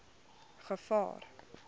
gevaar